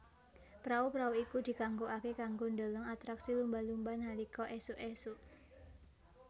Prau prau iku dikanggokake kanggo ndheleng atraksi lumba lumba nalika esuk esuk